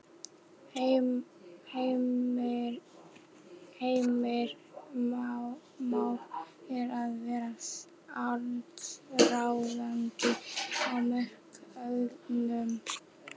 Heimir: Már er að verða allsráðandi á markaðnum?